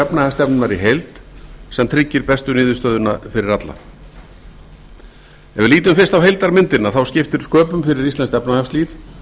efnahagsstefnunnar í heild sem tryggir bestu niðurstöðuna fyrir alla ef við lítum fyrst á heildarmyndina þá skiptir sköpum fyrir íslenskt efnahagslíf